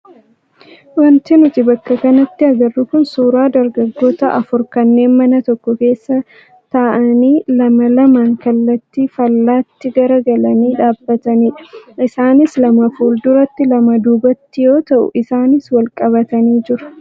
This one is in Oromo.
Wanti nuti bakka kanatti agarru kun suuraa dargaggoota afur kanneen mana tokko keessa ta'anii lama lamaan kallattii faallaatti garagaralanii dhaabbatanidha. Isaanis lama fuulduratti lama duubatti yoo ta'u isaanis wal qabatanii jiru.